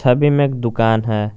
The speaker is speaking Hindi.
छवि में एक दुकान है।